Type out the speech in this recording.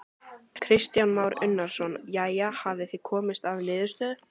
Kristján Már Unnarsson: Jæja, hafið þið komist að niðurstöðu?